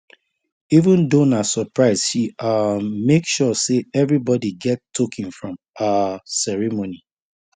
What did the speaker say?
even though na surprise she um make sure say everybody get token from um ceremony